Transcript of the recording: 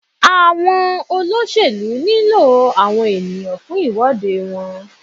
Àwọn olóṣèlú nílò àwọn ènìyàn fún ìwọ́de wọn.